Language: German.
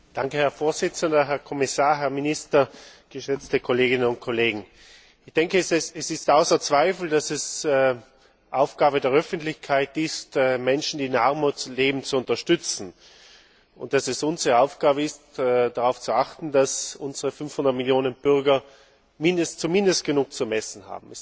Herr Präsident, Herr Kommissar, Herr Minister, geschätzte Kolleginnen und Kollegen! Ich denke, es steht außer Zweifel, dass es Aufgabe der Öffentlichkeit ist, Menschen, die in Armut leben, zu unterstützen, und dass es unsere Aufgabe ist, darauf zu achten, dass unsere 500 Millionen Bürger zumindest genug zum Essen haben.